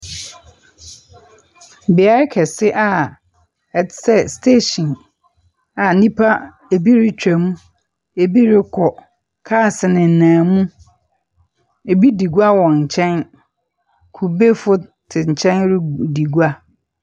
Beae kɛse a ɛte sɛ station a nnipa ebi retwam, ebi rekɔ. Cars nenam mu, ebi di gua wɔ nkyɛn. Kubefo te nkyɛn redi gua.